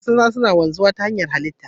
Albarkatun kasa suna wanzu ta hallita.